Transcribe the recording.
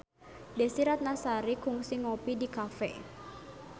Desy Ratnasari kungsi ngopi di cafe